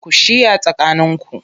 Ku shiya tsakaninku